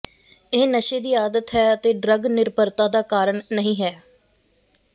ਇਹ ਨਸ਼ੇ ਦੀ ਆਦਤ ਹੈ ਅਤੇ ਡਰੱਗ ਨਿਰਭਰਤਾ ਦਾ ਕਾਰਨ ਨਹੀ ਹੈ